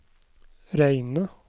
Reine